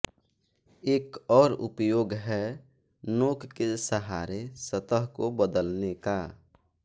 एक और उपयोग है नोक के सहारे सतह को बदलने का